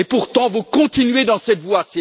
Pourtant, vous continuez dans cette voie.